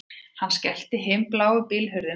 Hann skellti himinbláu bílhurðinni aftur